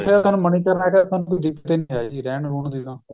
ਉਥੇ ਤਾਂ ਮਨੀਕਰਣ ਏ ਰਹਿਣ ਰਹੁਣ ਦੀ ਥਾਂ